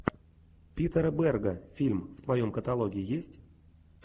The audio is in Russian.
питера берга фильм в твоем каталоге есть